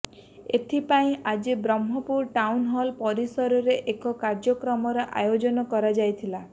ଏଥିପାଇଁ ଆଜି Brahmapur town hall ପରିସରରେ ଏକ କାର୍ୟ୍ୟକ୍ରମର ଆୟୋଜନ କରାଯାଇଥିଲା